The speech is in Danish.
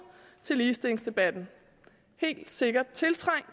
til ligestillingsdebatten helt sikkert tiltrængt